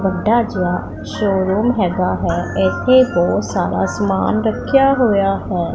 ਵੱਡਾ ਜਿਹਾ ਸ਼ੋਰੂਮ ਹੈਗਾ ਹੈ ਇੱਥੇ ਬਹੁਤ ਸਾਰਾ ਸਮਾਨ ਰੱਖਿਆ ਹੋਇਆ ਹੈ।